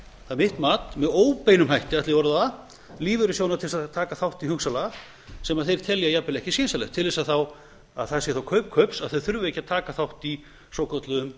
það er mitt mat með óbeinum hætti ætla ég að orða það lífeyrissjóðina til að taka þátt í hugsanlega sem þeir telja jafnvel ekki skynsamlegt til að það sé þá kaup kaups að þeir þurfi ekki að taka þátt í svokölluðum